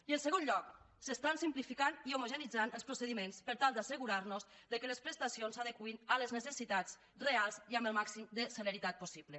i en segon lloc s’estan simplificant i homogeneïtzant els procediments per tal d’assegurar nos que les prestacions s’adeqüin a les necessitats reals i amb el màxim de celeritat possible